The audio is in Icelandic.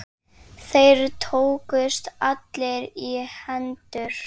Þeir tókust allir í hendur.